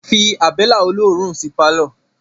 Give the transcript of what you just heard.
Fí abẹ́lẹ́ olóòórún sí pálọ̀